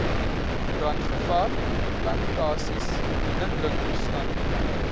brandgevaar plantasies indringerstande